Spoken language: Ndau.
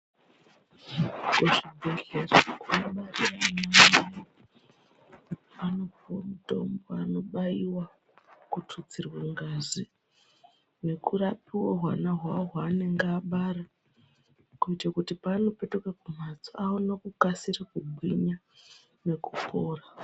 Kuzvibhedhlera mazuwa ano kwaane ma anopuwe mutombo anobaiwa kututsirwe ngazi nekurapwe hwana hwawo hwaanenge abara kuite kuti paanopetuke kumhatso aone kukasire kugwinya nekupora.